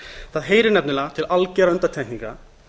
það heyrir nefnilega til algjörra undantekninga